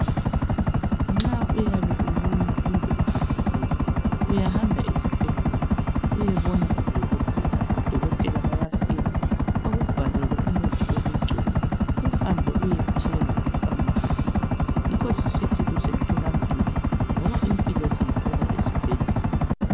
Nxa uyabe ulunywa kumbe uqubukile uyahamba esibhedlela uyebona udokotela, udokotela bayafika bakubhalele umuthi wokugcoba uhambe uyethenga epharmacy yikho sisithi kusemtholampilo ngoba impilo siyithola esibhedlela.